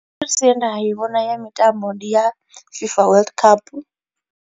Ye nda i vhona ya mitambo ndi ya FIFA world cup.